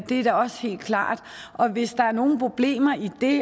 er da også helt klart og hvis der er nogle problemer i det